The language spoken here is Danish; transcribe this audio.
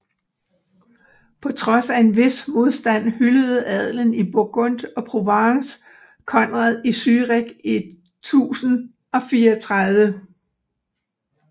På trods af en vis modstand hyldede adelen i Burgund og Provence Konrad i Zürich i 1034